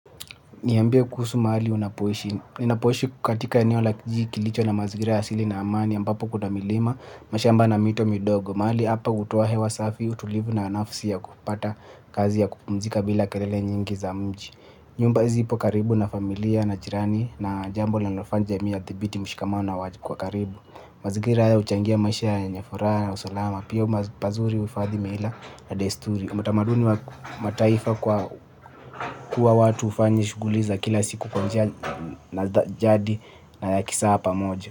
Niambie kuhusu mahali unapoishininapoishi katika eneo la kijiji kilicho na mazira ya asili na amani ambapo kuna milima, mashamba na mito midogo, mahali hapa hutoa hewa safi, utulivu na nafasi ya kupata kazi ya kupumzika bila kelele nyingi za mji. Nyumba zipo karibu na familia na jirani na jambo linalofanya jamii yathibiti mshikamano wa karibu. Mazingira haya huchangia maisha yenye furaha na usalama. Pia pazuri huhifadhi mila na desturi. Utamaduni wa mataifa kwa kuwa watu hufanya shuguli za kila siku kwa njia za jadi na ya kisaa pamoja.